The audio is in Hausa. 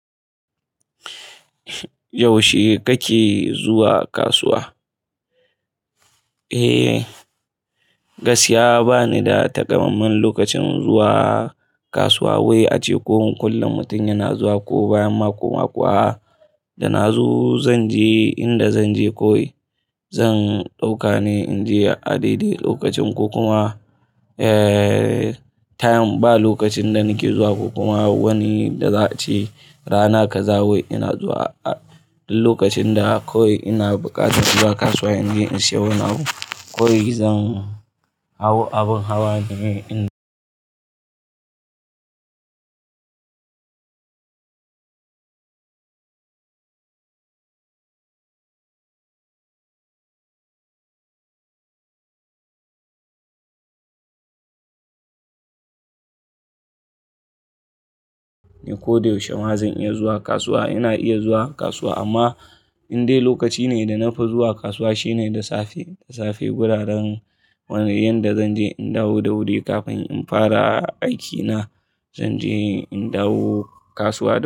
Yaushe kake zuwa kasuwa? Eh, gaskiya bani da takamaiman lokacin zuwa kasuwa wai ace ko kullum mutum yana zuwa ko bayan mako-mako. Da na zo zanje inda zanje koyi, zan ɗaukane in je a daidai lokacin ko kuma, eh, time ba lokacin da nake zuwa ko kuma wani da za a ce rana ka zawo. Ina zuwa a lokacin da kawai ina buƙata zuwa kasuwa in je in siyo wani abu. Kawai zan hau abin hawa ne in ko da yaushe ma zan iya zuwa kasuwa. Ina iya zuwa kasuwa amma indai lokaci ne da na fi zuwa kasuwa shine da safe, da safe guraren yanda zanje in dawo da wuri kafin in fara aikina. Zanje in dawo kasuwa.